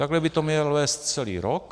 Takhle by to měl vést celý rok.